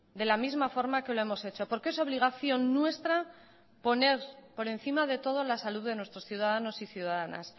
de la misma forma que lo hemos hecho porque es obligación nuestra poner por encima de todo la salud de nuestros ciudadanos y ciudadanas